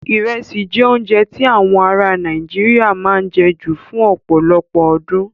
Irẹsi jẹ́ oúnjẹ tí awọn aráa Nàìjíríà máa ń jẹ ju fún ọ̀pọ̀lọpọ̀ ọdún.